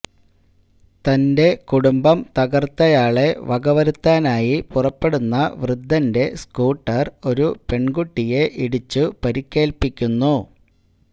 തന്റെ കുടുംബം തകർത്തയാളെ വകവരുത്താനായി പുറപ്പെടുന്ന വൃദ്ധന്റെ സ്കൂട്ടർ ഒരു പെൺകുട്ടിയെ ഇടിച്ചു പരിക്കേൽപ്പിക്കുന്നു